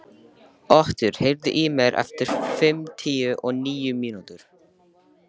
Otur, heyrðu í mér eftir fimmtíu og níu mínútur.